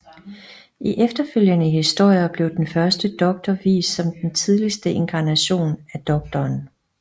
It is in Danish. I efterfølgende historier blev den Første Doktor vist som den tidligste inkarnation af Doktoren